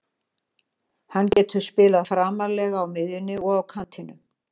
Hann getur spilað framarlega á miðjunni og á kantinum.